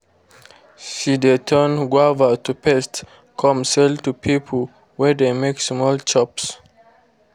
she de turn guava to paste come sell to people wey de make small chops